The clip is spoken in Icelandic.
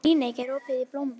Líneik, er opið í Blómaborg?